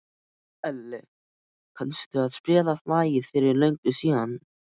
Elli, kanntu að spila lagið „Fyrir löngu síðan“?